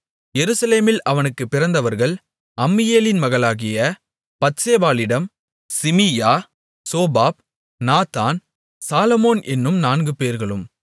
எருசலேமில் அவனுக்குப் பிறந்தவர்கள் அம்மியேலின் மகளாகிய பத்சேபாளிடம் சிமீயா சோபாப் நாத்தான் சாலொமோன் என்னும் நான்குபேர்களும்